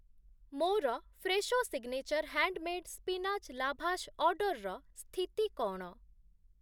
ମୋର Fresho signature handmade spinach lavash ଅର୍ଡ଼ର୍‌ର ସ୍ଥିତି କ’ଣ?